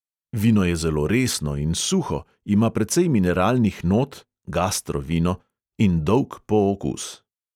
Vino je zelo resno in suho, ima precej mineralnih not (gastro vino!) in dolg pookus.